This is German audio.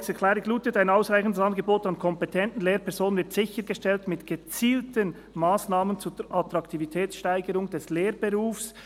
Die Planungserklärung lautet: «Ein ausreichendes Angebot an kompetenten Lehrpersonen wird sichergestellt mit gezielten Massnahmen zur Attraktivitätssteigerung des Lehrberufs.